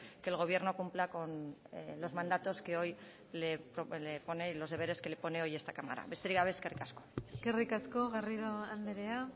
que el gobierno cumpla con los mandatos que hoy le pone los deberes que le pone hoy esta cámara besterik gabe eskerrik asko eskerrik asko garrido andrea